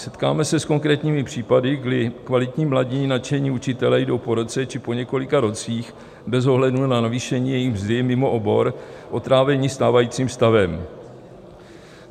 Setkáme se s konkrétními případy, kdy kvalitní, mladí, nadšení učitelé jdou po roce či po několika rocích bez ohledu na navýšení jejich mzdy mimo obor, otráveni stávajícím stavem.